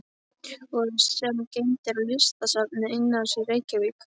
og sem geymd er í Listasafni Einars í Reykjavík.